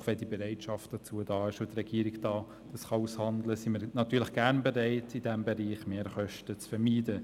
Doch wenn die Bereitschaft dazu da ist und die Regierung dies aushandeln kann, sind wir natürlich gerne bereit, in diesem Bereich Mehrkosten zu vermeiden.